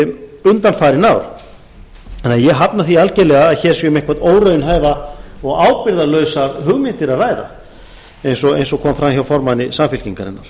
undanfarin ár þannig að ég hafna því algerlega að hér sé um einhverjar óraunhæfar og ábyrgðarlausar hugmyndir að ræða eins og kom fram hjá formanni samfylkingarinnar